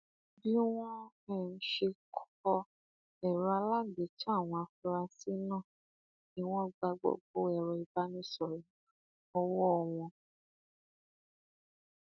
bí wọn um ṣe kọ ẹrọ àgbélétàn àwọn afurasí náà ni wọn gba gbogbo ẹrọ ìbánisọrọ ọwọ um wọn